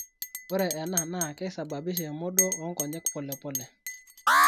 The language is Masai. Ore enaa naa keisababisha emodoo oonkonye polepole.